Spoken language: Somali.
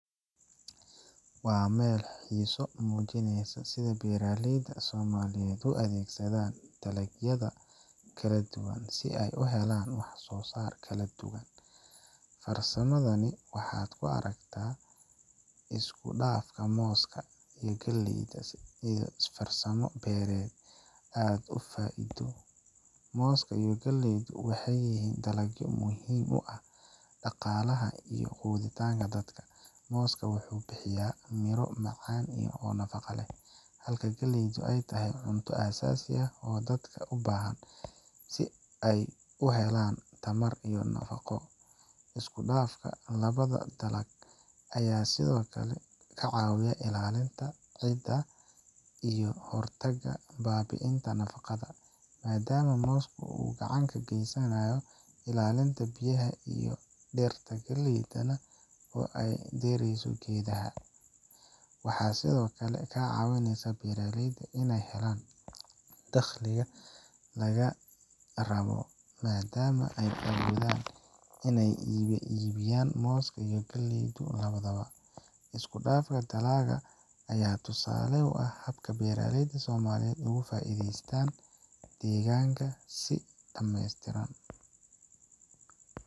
Waa meel xiiso leh oo muujineysa sida beeralayda Soomaaliyeed u adeegsadaan dalagyada kala duwan si ay u helaan wax soo saar kala duwan. Farsamadani, waxaad ku arki kartaa isku-dhafka mooska iyo galleyda, taas oo ah farsamo beereed aad u faa'iido. Mooska iyo galleydu waxay yihiin dalagyo muhiim u ah dhaqaalaha iyo quudinta dadka. Mooska wuxuu bixiyaa miro macaan iyo nafaqo leh, halka galleydu ay tahay cunto aasaasi ah oo dadka u baahan yihiin si ay u helaan tamar iyo nafaqo. Isku dhafka labada dalag ayaa sidoo kale ka caawiya ilaalinta ciidda iyo ka hortagga baabi'inta nafaqada, maadaama mooska uu gacan ka geysanayo ilaalinta biyaha iyo dhirta galleyda oo dheereysa geedaha. Waxay sidoo kale ka caawisaa beeralayda inay helaan dakhliga laba jibbaaran, maadaama ay awoodaan inay iibin karaan moos iyo galley labadaba. Isku-dhafka dalaggan ayaa tusaale u ah habka beeralayda Soomaaliyeed ay uga faa'iideysanayaan deegaanka si dhameestiran.